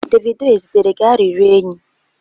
Davido ezitere gi arịrịọ enyi?